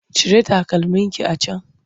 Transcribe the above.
Cire takalmin ki a can!